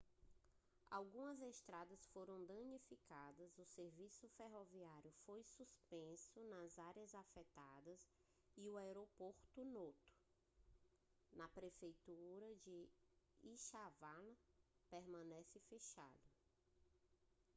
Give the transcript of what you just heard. algumas estradas foram danificadas o serviço ferroviário foi suspenso nas áreas afetadas e o aeroporto noto na prefeitura de ishikawa permanece fechado